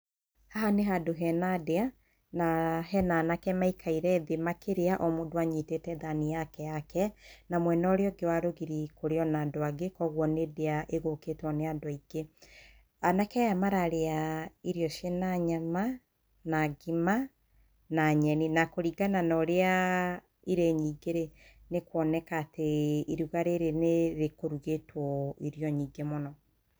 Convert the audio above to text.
Haha nĩ handũ hena ndĩa na [uhh]hena anake mekaire thĩĩ makĩrĩa omũndũ anyitĩte thani yake yake na mwenda ũrĩa ũngĩ wa rũgiri kũrĩ ona andũ angĩ kwoguo nĩ ndĩa ĩgũkĩtwo nĩ andũ aingĩ. Anake aya mararĩa irio ciĩna nyama, na ngima na nyeni na kũrĩngana na ũrĩa[uuh]ĩrĩ nyingĩ rĩ nĩkwonekatĩ iruga rĩrĩ nĩ rĩkũrugĩtwo irio nyingĩ mũno.